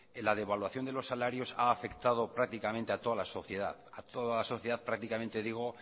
la devaluación de los salarios ha afectado prácticamente a toda la sociedad a toda la sociedad prácticamente digo